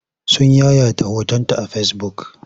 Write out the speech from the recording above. Sun yayata hotonta a fesibuk.